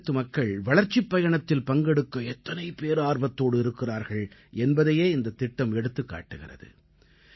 காஷ்மீரத்து மக்கள் வளர்ச்சிப் பயணத்தில் பங்கெடுக்க எத்தனை பேரார்வத்தோடு இருக்கிறார்கள் என்பதையே இந்தத் திட்டம் எடுத்துக் காட்டுகிறது